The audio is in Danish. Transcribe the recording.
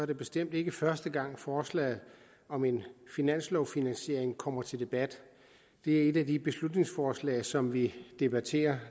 det bestemt ikke første gang forslaget om en finanslovfinansiering kommer til debat det er et af de beslutningsforslag som vi debatterer